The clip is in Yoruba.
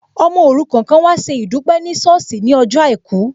Ọmọ òrukàn kan an wá ṣe ìdúpẹ́ ní ṣọ́ọ̀sì ní ọjọ́ àìkú